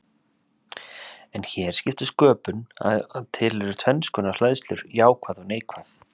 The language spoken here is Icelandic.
En hér skiptir sköpum að til eru tvenns konar hleðslur, jákvæð og neikvæð.